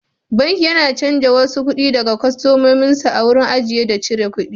Banki yana cajin wasu kuɗi daga kwastomomin sa a wurin ajiye da cire kuɗi.